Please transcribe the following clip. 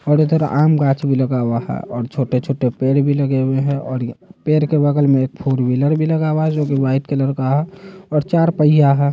थोड़ा-थोड़ा आम गाछ भी लगा हुआ है और छोटे-छोटे पेड़ भी लगे हुए है और ये पेड़ के बगल में एक फोर व्हीलर भी लगा हुआ है जो कि व्हाइट कलर का है और चार पहिया है।